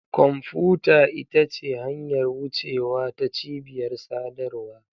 Kwamfuta ita ce hanyar wucewa ta cibiyar sadarwa.